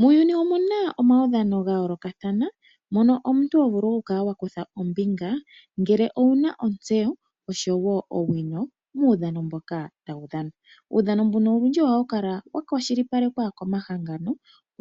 Muuyuni omuna omaudhano ga yoolokathana. Mono omuntu ho vulu oku kala wa kutha ombinga ngele owuna otseyo muudhano mboka tawu dhanwa. Uudhano mbuno unene ohawu kala wa kwashilipalekwa komahangano